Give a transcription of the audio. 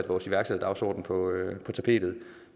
vores iværksætterdagsorden på tapetet